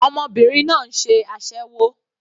Ọmọbìnrin náà ń ṣe aséwó.